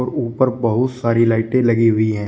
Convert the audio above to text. ऊपर बहुत सारी लाइटें लगी हुई हैं।